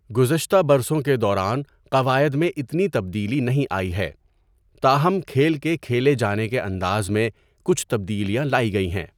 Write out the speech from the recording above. گزشتہ برسوں کے دوران قواعد میں اتنی تبدیلی نہیں آئی ہے، تاہم کھیل کے کھیلے جانے کے انداز میں کچھ تبدیلیاں لائی گئی ہیں۔